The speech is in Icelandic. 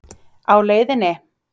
Á LEIÐINNI?